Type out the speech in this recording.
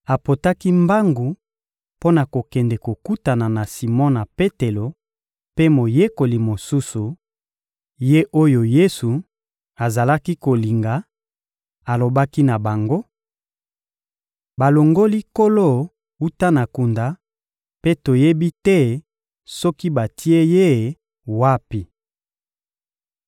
Apotaki mbangu mpo na kokende kokutana na Simona Petelo mpe moyekoli mosusu, ye oyo Yesu azalaki kolinga; alobaki na bango: — Balongoli Nkolo wuta na kunda, mpe toyebi te soki batie Ye wapi!